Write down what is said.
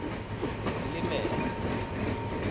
isilimela